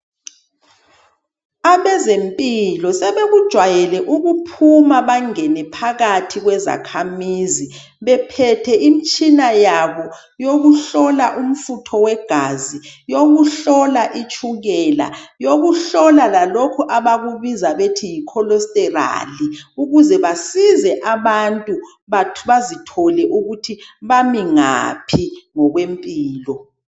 Abezempilo sebekujwayele ukuphuma bangene phakathi kwezakhamizi bephethe imitshina yabo yokuhlola umfutho wegazi, yokuhlola itshukela, yokuhlola lalokhu abakubiza bethi yikholesterali ukuze basize abantu bazithole ukuthi bamingaphi ngokwempilo.